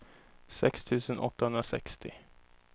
sex tusen åttahundrasextio